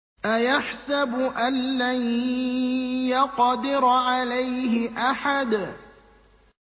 أَيَحْسَبُ أَن لَّن يَقْدِرَ عَلَيْهِ أَحَدٌ